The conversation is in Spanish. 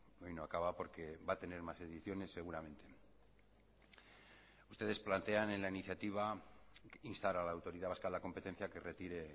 hoy no acaba porque va a tener más ediciones seguramente ustedes plantean en la iniciativa instar a la autoridad vasca de la competencia a que retire